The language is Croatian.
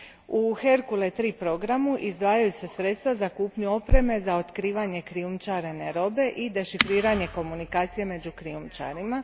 U Hercule III programu izdvajaju se sredstva za kupnju opreme za otkrivanje krijumčarene robe i dešifriranje komunikacije među krijumčarima.